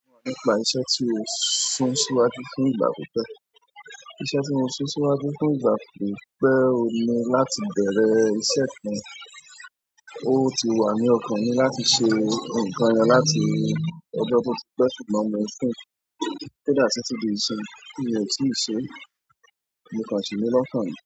Iṣẹ́ tí ó sún síwájú fún ìgbà pípẹ́, iṣẹ́ tí mó sún síwájú fún ìgbà pípẹ́ ohun ni láti bẹ̀rẹ̀ iṣẹ́ kan, ó ti wà ní ọkàn mi láti ṣe nǹkan yen láti ọjọ́ tó ti pẹ́ ṣùgbọ́n mo sún kódà titi dí isinyi mo ti ṣe, mo kàn sí ni lọ́kàn ni.